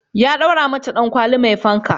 Ya daura mata dankwali mai fanka